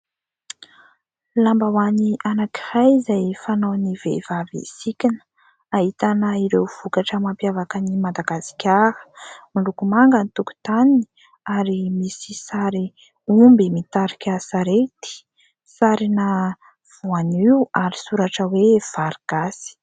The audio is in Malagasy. Lambahoany anankiray izay fanaovan'ny vehivavy sikina ahitana ireo vokatra mampiavaka an'i Madagasikara. Miloko manga ny tokotaniny ary misy sary omby mitarika sarety, sarina voanio ary soratra hoe vary gasy.